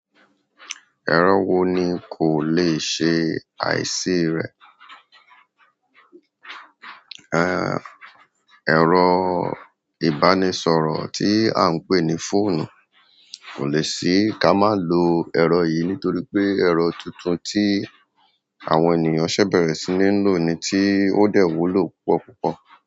Ẹ̀rọ wo ni kò le ṣe àìsí rẹ̀? Ẹ, ẹ̀rọ ìbánisọ̀rọ̀ tí à ń pè ní fóònù kò lè ṣí kamà lò ẹ̀rọ yìí nítorí pé ẹ̀rọ tuntun tí àwọn ènìyàn ṣẹ̀ bẹ̀rẹ̀ sí ní lò ni tí ó dẹ̀ wúlò púpọ̀ púpọ̀.